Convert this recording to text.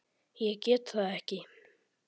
Ég get það ekki